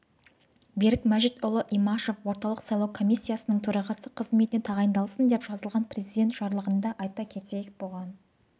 берік мәжитұлы имашев орталық сайлау комиссиясының төрағасы қызметіне тағайындалсын деп жазылған президент жарлығында айта кетейік бұған